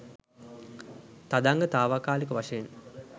තදංග තාවකාලික වශයෙන්